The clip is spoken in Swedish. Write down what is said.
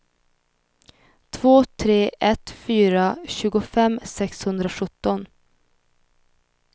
två tre ett fyra tjugofem sexhundrasjutton